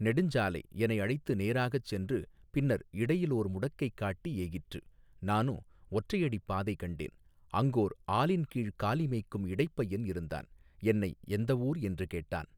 நெடுஞ் சாலை எனை அழைத்து நேராகச் சென்று பின்னர் இடையிலோர் முடக்கைக் காட்டி ஏகிற்று நானோ ஒற்றை அடிப்பாதை கண்டேன் அங்கோர் ஆலின்கீழ்க் காலி மேய்க்கும் இடைப்பையன் இருந்தான் என்னை எந்த ஊர் என்று கேட்டான்.